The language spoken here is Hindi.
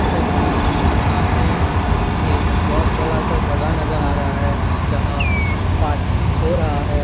इस तस्वीर में सामने एक बहुत बड़ा-सा जगह नजर आ रहा है जहाँ पार्टी हो रहा है।